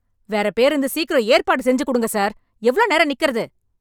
வேற பேருந்து சீக்கிரம் ஏற்பாடு செஞ்சு குடுங்க சார், எவ்ளோ நேரம் நிக்கறது..